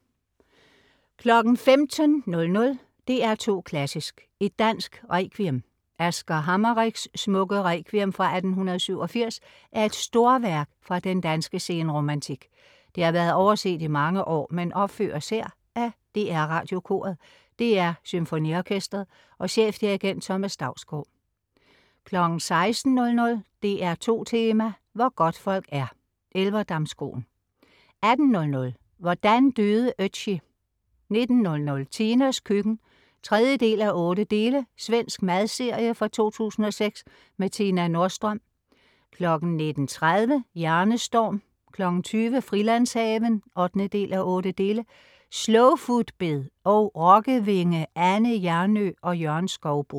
15.00 DR2 Klassisk: Et dansk requiem. Asger Hameriks smukke Requiem fra 1887 er et storværk fra den danske senromantik. Det har været overset i mange år, men opføres her af DR Radiokoret, DR SymfoniOrkestret og chefdirigent Thomas Dausgaard 16.00 DR2 Tema: Hvor godtfolk er - Elverdamskroen 18.00 Hvordan døde Ötzi? 19.00 Tinas køkken 3:8. Svensk madserie fra 2006 med Tina Nordström 19.30 Hjernestorm 20.00 Frilandshaven 8:8. Slowfoodbed og rokkevingeAnne Hjernøe og Jørgen Skouboe